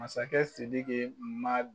Masakɛ Sidiki ma